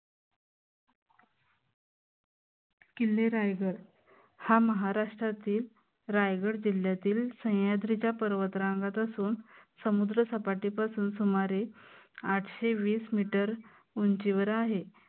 किल्ले रायगड हा महाराष्ट्रातील रायगड जिल्यातील सह्यांद्रीच्या पर्वतरांगात असून समुद्र सपाटीपासून सुमारे आठशे वीस meter उंचीवर आहे.